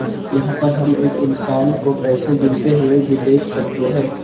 यहां पर हम एक इंसान को पैसे गिनते हुए भी देख सकते हैं।